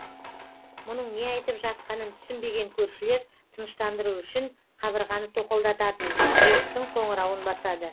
мұның не айтып жатқанын түсінбеген көршілер тыныштандыру үшін қабырғаны тоқылдататын есіктің қоңырауын басады